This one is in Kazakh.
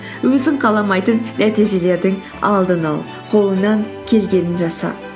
өзің қаламайтын нәтижелердің алдын ал қолыңнан келгенін жаса